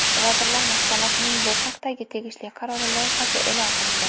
Vazirlar Mahkamasining bu haqdagi tegishli qarori loyihasi e’lon qilindi.